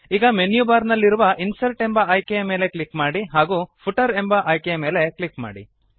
ಈಗ menu bar ನಲ್ಲಿರುವ insert ಎಂಬ ಆಯ್ಕೆಯ ಮೇಲೆ ಕ್ಲಿಕ್ ಮಾಡಿ ಹಾಗೂ ಫೂಟರ್ ಎಂಬ ಆಯ್ಕೆಯ ಮೇಲೆ ಕ್ಲಿಕ್ ಮಾಡಿ